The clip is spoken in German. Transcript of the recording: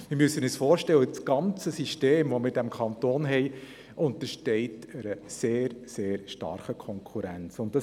Wir müssen uns vorstellen, dass das ganze System im Kanton einer sehr starken Konkurrenz unterworfen ist.